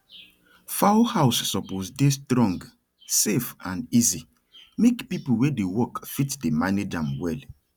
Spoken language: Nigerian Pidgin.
fowl house suppose dey strong safe and easy make people wey dey work fit dey manage am well